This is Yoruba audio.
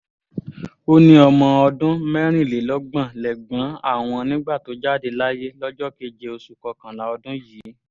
ó ní ọmọ ọdún mẹ́rìnlélọ́gbọ̀n lẹ́gbọ̀n àwọn nígbà tó jáde láyé lọ́jọ́ keje oṣù kọkànlá ọdún yìí